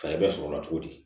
Fɛɛrɛ bɛ sɔrɔ o la cogo di